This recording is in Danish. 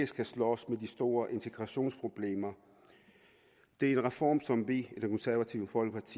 skal slås med de store integrationsproblemer det er en reform som vi